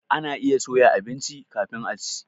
Ana iya soya abinci kafin a ci.